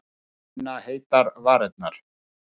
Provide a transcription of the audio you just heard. Finna heitar varirnar.